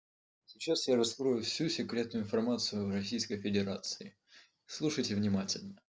сейчас я раскрою всю секретную информацию в российской федерации слушайте внимательно